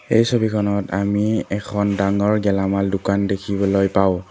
এই ছবিখনত আমি এখন ডাঙৰ গেলামাল দোকান দেখিবলৈ পাওঁ।